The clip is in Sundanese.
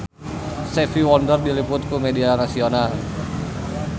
Stevie Wonder diliput ku media nasional